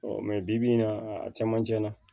bi bi in na a camancɛ la